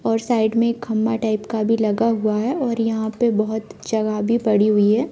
और साइड में खम्बा टाइप का भी लगा हुआ है और यहां पे बहुत जगह भी पड़ी हुई है।